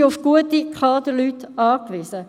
Wir sind auf gute Kaderleute angewiesen.